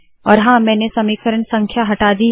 और हाँ मैंने समीकरण संख्या हटा दी है